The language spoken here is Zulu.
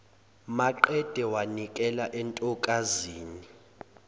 maqede wanikela entokazini